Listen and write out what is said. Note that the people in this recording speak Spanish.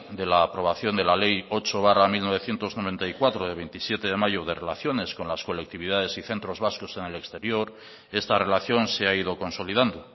de la aprobación de la ley ocho barra mil novecientos noventa y cuatro de veintisiete de mayo de relaciones con las colectividades y centros vascos en el exterior esta relación se ha ido consolidando